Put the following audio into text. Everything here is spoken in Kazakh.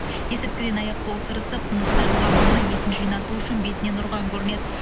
есірткіден аяқ қолы тырысып тынысы тарылған оны есін жинату үшін бетінен ұрған көрінеді